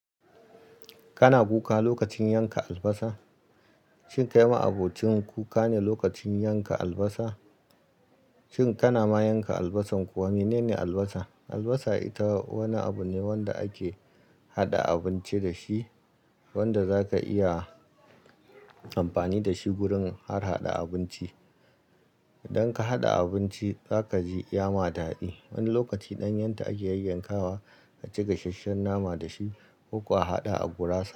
Kana kuka lokacin yanka albasa? Shin kai ma'abocinn kuka ne lokacin yanka albasa? Shin kana ma yanka albasar kuwa? Menene albasa? Albasa ita wani abu ne wanda ake haɗa abinci dashi, wanda zaka iya amfani dashi gurin har haɗa abinci. Idan ka haɗa abinci zakaji ya ma daɗi. Wani lokaci ɗanyen ta akayi yayyakawa aka ci gasasshen nama dashi ko kuwa a haɗa a gurasa.